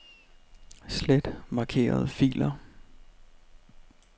Slet markerede filer.